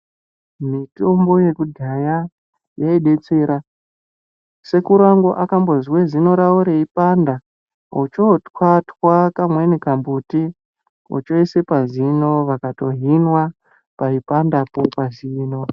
Mitombonyekudhaya yaibetsera ,sekuru angu akambozwe zino rawo reipanda ocho twatwa kamweni kambuti ochoise pazino vakatohinwa paipandapo pa zino.